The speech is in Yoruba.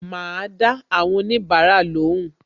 Ma dá àwọn onibara lóhùn